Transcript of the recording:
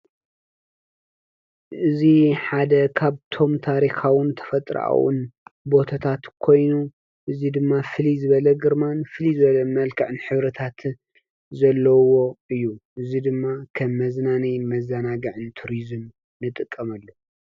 እዙ ሓደ ኻብ ቶም ታሪኻውን ተፈጥርአዉን ቦተታት ኮይኑ እዝይ ድማ ፍሊ ዝበለ ግርመን ፍሊዝበለ መልካዕን ኅብረታት ዘለዉዎ እዩ እዝይ ድማ ኸብ መዝናኒ መዛናጋዕን ቱርዝም ንጠቀመሉ